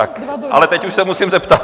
Ale teď už se musím zeptat.